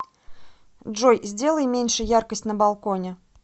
джой сделай меньше яркость на балконе